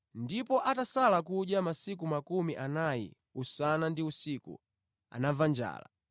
Ndipo atasala kudya masiku makumi anayi usana ndi usiku, anamva njala.